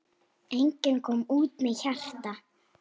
Enginn kom út með hjarta.